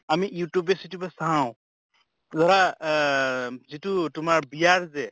আমি youtube য়ে চিয়্তুবে চাওঁ ধৰা অহ যিটো তোমাৰ বিয়াৰ যে